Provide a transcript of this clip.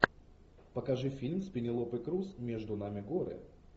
покажи фильм с пенелопой крус между нами горы